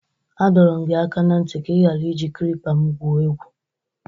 A dọrọ m gị aka na ntị ka ị ghara iji klipa m gwuo egwu!